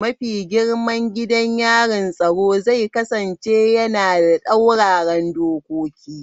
Mafi girman gidan yarin tsaro zai kasance yana da tsauraran dokoki.